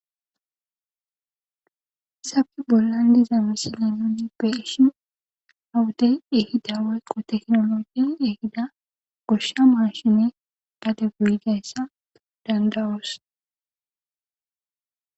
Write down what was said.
Hassappe bollan diiza missile nuni bei'shshin ha wodde tekkinoleggy ehida gadde goyyiz mashshine beo dandaos.